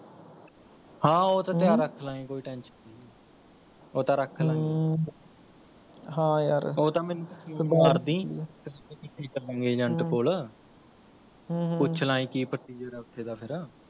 ਹਾਂ ਓਹ ਤਾਂ ਹਮਮ ਧਿਆਨ ਰੱਖਲਾਂਗੇ, ਕੋਈ tension ਨਹੀਂ ਹੈ ਉਹ ਤਾਂ ਰੱਖਲਾਂਗੇ ਉਹ ਤਾਂ ਮੈਨੂੰ ਮਾਰਦੀ Agent ਕੋਲ ਹਮਮ ਹਮਮ ਪੁਛੱਲਾਂਗੇ ਕੀ procedure ਹੈ ਉੱਥੇ ਦਾ ਫਿਰ